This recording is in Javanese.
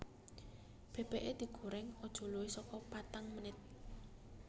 Bebeke digoreng aja luwih soko patang menit